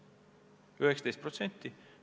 Toona oli see 19%.